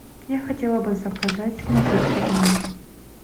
я хотела бы заказать напитки в номер